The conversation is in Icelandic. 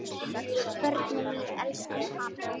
Börnin mín elskuðu hann.